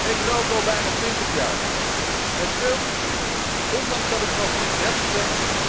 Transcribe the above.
Ik rook al bijna twintig jaar met veel plezier, ondanks dat ik pas 33 ben.